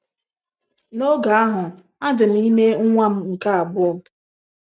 N’oge ahụ, adị m ime nwa m nke abụọ.